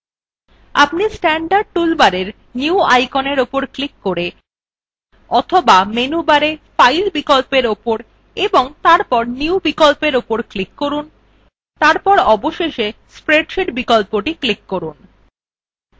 আপনি standard toolbar new আইকনের উপর ক্লিক করে অথবা menu bar file বিকল্প উপর এবং তারপর new বিকল্পর উপর করুন তারপর অবশেষে spreadsheet বিকল্পটি ক্লিক করুন